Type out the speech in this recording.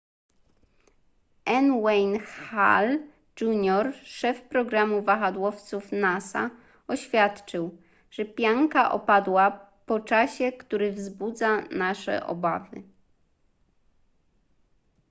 n wayne hale jr szef programu wahadłowców nasa oświadczył że pianka odpadła po czasie który wzbudza nasze obawy